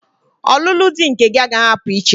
Ọlụlụ di nke gị agaghị apụ iche!